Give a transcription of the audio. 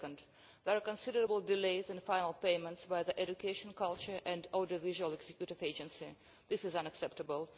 Second, there are considerable delays in the final payments by the Education, Culture and Audiovisual Executive Agency. This is unacceptable.